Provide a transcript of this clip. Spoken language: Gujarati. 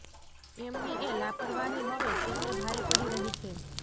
એમની એ લાપરવાહી હવે તેમને ભારે પડી રહી છે